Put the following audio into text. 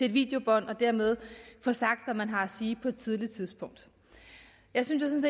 et videobånd og dermed få sagt hvad man har at sige på et tidligt tidspunkt jeg synes